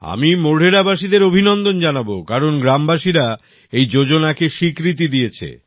আমি মোঢেরা বাসীদের অভিনন্দন জানাবো কারণ গ্রামবাসীরা এই যোজনাকে স্বীকৃতি দিয়েছে